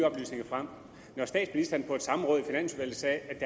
oplysninger frem når statsministeren på et samråd i finansudvalget sagde